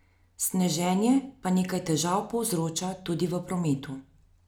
Sneženje pa nekaj težav povzroča tudi v prometu.